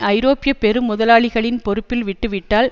ஐரோப்பிய பெரு முதலாளிகளின் பொறுப்பில் விட்டு விட்டால்